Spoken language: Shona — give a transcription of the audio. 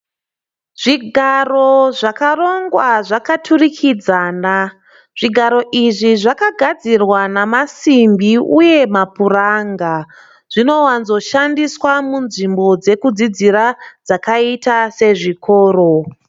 Zvigaro zvakarongwa zvakaturikidzana. Zvigaro izvi zvakagadzirwa namasimbi uye mapuranga. Zvinowanzo shandiswa munzvimbo dzekudzidzira dzakaita sezvikoro.